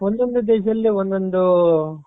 ಒಂದೊಂದು ದೇಶದಲ್ಲಿ ಒಂದೊಂದು